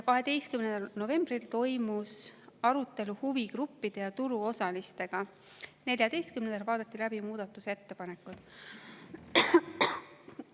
12. novembril toimus arutelu huvigruppide ja turuosalistega, 14. novembril vaadati läbi muudatusettepanekud.